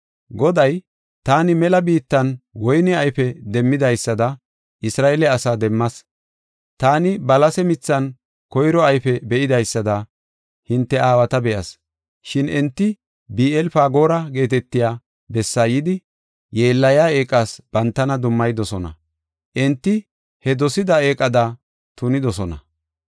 Goday, “Taani mela biittan woyne ayfe demmidaysada Isra7eele asaa demmas. Taani balase mithan koyro ayfe be7idaysada hinte aawata be7as. Shin enti Bi7eel-Fagoora geetetiya bessaa yidi, yeellayiya eeqas bantana dummayidosona; enti he dosida eeqada tunidosona.